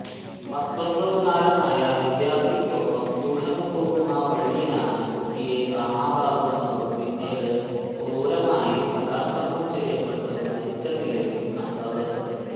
പത്തൊന്പതുകാരനായ വിദ്യാര്ഥിക്കൊപ്പം ട്യൂഷനു പോകുന്ന വഴിയിലാണ് കുട്ടിയെ കാണാതാകുന്നതും പിന്നീട് ക്രൂരമായി ബലാത്സംഗം ചെയ്യപ്പെട്ട് മരിച്ച നിലയിലും കണ്ടത്